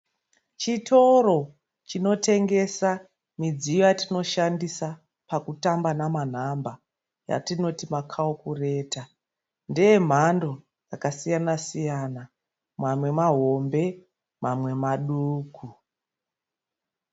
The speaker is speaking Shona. Chitoro chinotengesa midziyo yatinoshandisa pakutamba nemanhamba yatinoti makarukureta. Ndeyemhando dzakasiyana-siyana mamwe mahombe mamwe maduku.